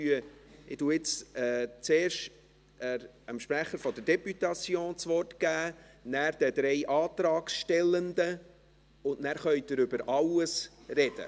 Ich gebe zuerst dem Sprecher der Députation das Wort, anschliessend den drei Antragstellenden, und danach können Sie über alles sprechen.